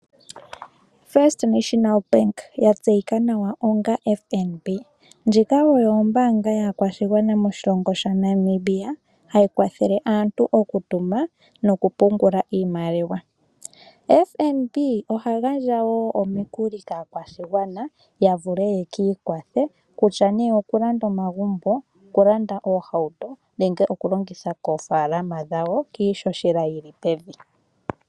First National Bank yatseyika nawa onga FNB ndjika oyo ombanga yakwashigwana moshilongo shaNamibia, hayi kwathele aantu okutuma nokupungula iimaliwa. FNB oha gandja wo omikuli kakwashigwana yavule yekikwathe kutya nee okulanda omagumbo okulanda oohauto nenge okulongitha koofalama dhawo kiishoshela yili pevi.